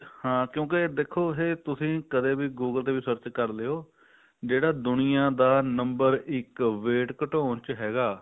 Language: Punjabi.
ਹਾਂ ਕਿਉਂਕਿ ਦੇਖੋ ਇਹ ਤੁਸੀਂ ਕਦੇ ਵੀ google ਤੇ ਵੀ search ਕਰਲੋ ਜਿਹੜਾ ਦੁਨੀਆ ਦਾ number ਇੱਕ wait ਘਟਾਉਣ ਚ ਹੋਗਾ